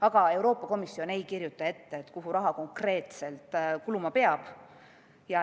Aga Euroopa Komisjon ei kirjuta ette, kuhu raha konkreetselt kuluma peab.